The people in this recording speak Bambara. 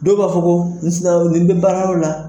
Dɔw b'a fɔ ko ni sikala dɔrɔn i bɛ baara yɔrɔ la.